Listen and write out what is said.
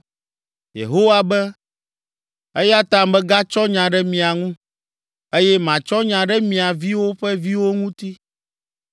Yehowa be, “Eya ta megatsɔ nya ɖe mia ŋu, eye matsɔ nya ɖe mia viwo ƒe viwo ŋuti.